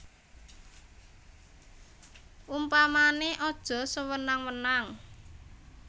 Upamané aja sewenang wenang